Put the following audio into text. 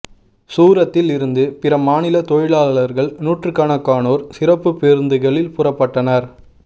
சூரத்தில் இருந்து பிற மாநில தொழிலாளர்கள் நூற்றுக்கணக்கானோர் சிறப்பு பேருந்துகளில் புறப்பட்டனர்